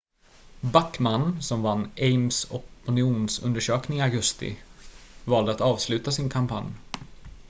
backmann som vann ames opinionsundersökning i augusti valde att avsluta sin kampanj